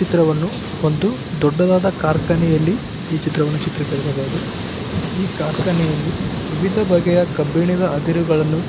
ಚಿತ್ರವನ್ನು ಒಂದು ದೊಡ್ಡದಾದ ಖಾರ್ಕಾನೆಯಲ್ಲಿ ಈ ಚಿತ್ರವನ್ನು ಚಿತ್ರಿಕರಿಸಬಹುದು ಈ ಖಾರ್ಕಾನೆಯಲ್ಲಿ ವಿವಿಧ ಬಗೆಯ ಕಬ್ಬಿಣದ ಅದಿರುಗಳನ್ನು--